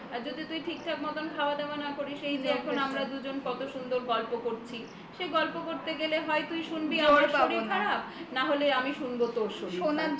আর যদি তুমি ঠিকঠাক মতন খাওয়া দাওয়া না করিস এই যে এখন আমরা দুজন কত সুন্দর গল্প করছি সেই গল্প করতে গেলে হয় তুই শুনবি আমার শরীর খারাপ না হলে আমি শুনবো তোর শরীর খারাপ